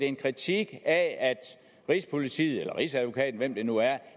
en kritik af at rigspolitiet eller rigsadvokaten eller hvem det nu er